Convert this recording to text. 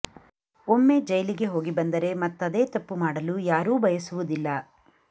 ಒಮ್ಮೆ ಜೈಲಿಗೆ ಹೋಗಿ ಬಂದರೆ ಮತ್ತದೇ ತಪ್ಪು ಮಾಡಲು ಯಾರೂ ಬಯಸುವುದಿಲ್ಲ